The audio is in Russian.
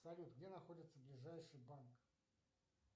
салют где находится ближайший банк